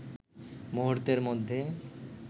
মুহূর্তের মধ্যে